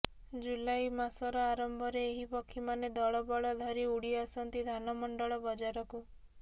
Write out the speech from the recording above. ଜୁଲାଇ ମାସର ଆରମ୍ଭ ରେ ଏହି ପକ୍ଷୀମାନେ ଦଳବଳ ଧରି ଉଡିଆସନ୍ତି ଧାନମଣ୍ଡଳ ବଜାରକୁ